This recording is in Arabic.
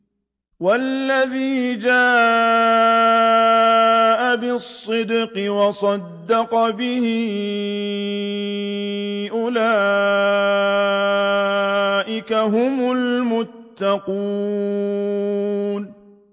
وَالَّذِي جَاءَ بِالصِّدْقِ وَصَدَّقَ بِهِ ۙ أُولَٰئِكَ هُمُ الْمُتَّقُونَ